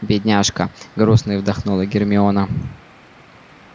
бедняжка грустно вздохнула гермиона